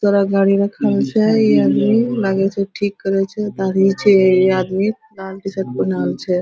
तोरा गाड़ी रखल छै ई आदमी लगे छै ठीक करे छै एक आदमी छै इ आदमी